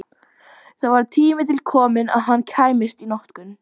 Það var tími til kominn að hann kæmist í notkun!